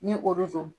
Ni olu don